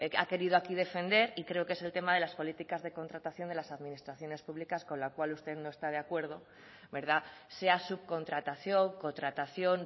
ha querido aquí defender y creo que es el tema de las políticas de contratación de las administraciones públicas con la cual usted no está de acuerdo sea subcontratación contratación